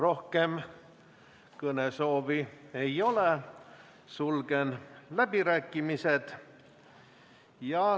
Rohkem kõnesoove ei ole, sulgen läbirääkimised.